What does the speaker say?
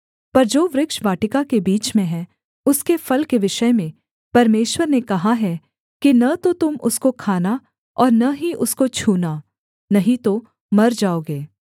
पर जो वृक्ष वाटिका के बीच में है उसके फल के विषय में परमेश्वर ने कहा है कि न तो तुम उसको खाना और न ही उसको छूना नहीं तो मर जाओगे